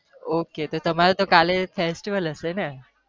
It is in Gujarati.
Ok તો તમારે કાલે festival હશે ને